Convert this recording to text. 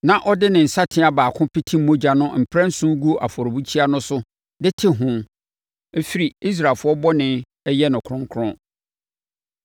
na ɔde ne nsateaa baako pete mogya no mprɛnson gu afɔrebukyia no so de te ho firi Israelfoɔ bɔne no ho yɛ no kronkron.